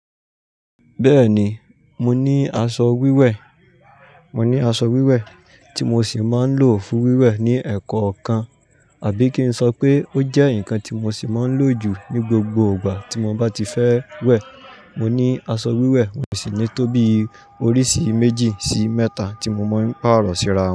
Bẹ́ẹ̀ni, mo ní aṣọ wíwẹ̀, mo ní aṣọ wíwẹ̀ tí mo sì máa ń lò fún wíwẹ̀ ní ẹ̀kọ́ kan, àbí kí n sọ pé ó jẹ́ nǹkan tí mo sì máa ń lò jù ní gbogbo ìgbà tí mo bá ti fẹ́ wẹ̀. Mo ní aṣọ wíwẹ̀ mòṣì ni to bí oríṣi méjì sí mẹ́ta tí mo mọ̀ ń pàrọ̀ síra.